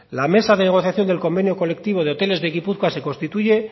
la mesa de negociación del convenio colectivo de hoteles de gipuzkoa se constituye